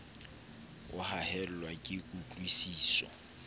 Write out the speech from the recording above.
o haellwa ke kutlwi siso